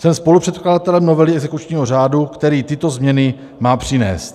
Jsem spolupředkladatelem novely exekučního řádu, který tyto změny má přinést.